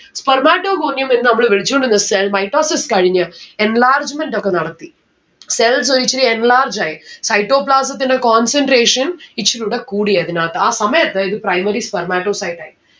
spermatogonium എന്ന് നമ്മൾ വിളിച്ചോണ്ടിന്ന cell mitosis കഴിഞ്ഞ് enlargement ഒക്കെ നടത്തി. cells ഇച്ചിരി enlarge ആയി. Cytoplasm ന്റെ concentration ഇച്ചിരിയൂടെ കൂടി അതിനാത്ത്‌ ആ സമയത്ത് ഇത് primary spermatocyte ആയി